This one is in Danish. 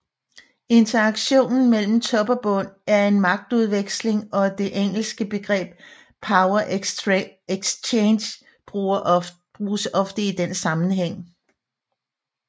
Interaktionen mellem Top og Bund er en magtudveksling og det engelske begreb Power Exchange bruges ofte i den sammenhæng